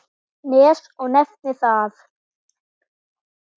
Nes og nefnir það.